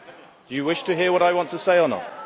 Do you wish to hear what I want to say or not?